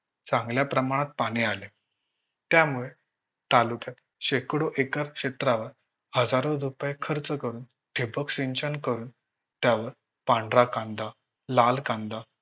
चांगल्या प्रमाणात पाणी आले. त्यामुळे तालुक्यात शेकडो एकर क्षेत्रावर हजारो रुपये खर्च करून ठिबक सिंचन करून त्यावर पांढरा कांदा, लाल कांदा